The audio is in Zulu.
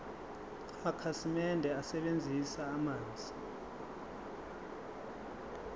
amakhasimende asebenzisa amanzi